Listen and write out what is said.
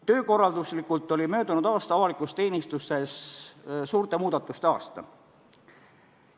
Töökorralduslikult oli möödunud aasta avalikus teenistuses suurte muudatuste aasta.